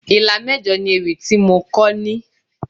Ìlà mẹ́jọ ni ewì tí mo kọ ní.